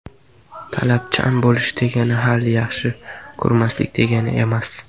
Talabchan bo‘lish degani hali yaxshi ko‘rmaslik degani emas”.